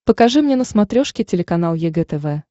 покажи мне на смотрешке телеканал егэ тв